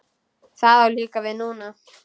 Það á líka við núna.